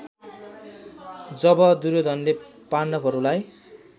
जब दुर्योधनले पाण्डवहरूलाई